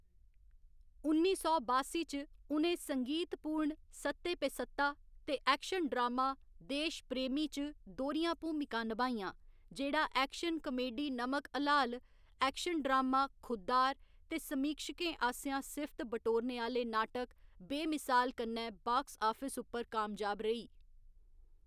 उन्नी सौ बासी च, उ'नें संगीतपूर्ण सत्ते पे सत्ता ते ऐक्शन ड्रामा देश प्रेमी च दोह्‌रियां भूमिकां नभाइयां, जेह्ड़ा action comedy Namak Halaal, action drama Khuddar ते समीक्षकें आसेआ सिफ्त बटोरने आह्‌ले नाटक बेमिसाल कन्नै बाक्स आफिस उप्पर कामयाब रेही।